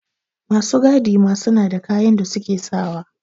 Masu gadi ma suna da kayan da suke sawa